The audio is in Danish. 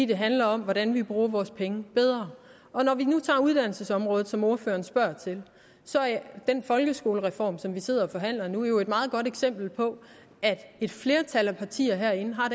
det handler om hvordan vi bruger vores penge bedre og når vi nu tager uddannelsesområdet som ordføreren spørger til så er den folkeskolereform som vi sidder og forhandler nu jo et meget godt eksempel på at et flertal af partier herinde har